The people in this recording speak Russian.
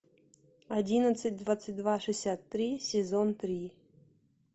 одиннадцать двадцать два шестьдесят три сезон три